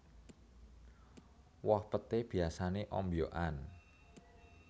Woh peté biyasané ombyokan